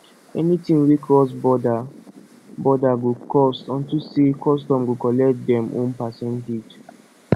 anything wey cross border border go cost unto say custom go collect dem own percentage